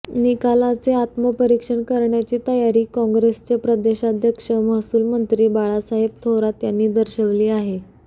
निकालाचे आत्मपरीक्षण करण्याची तयारी कॉंग्रेसचे प्रदेशाध्यक्ष महसूल मंत्री बाळासाहेब थोरात यांनी दर्शविली आहे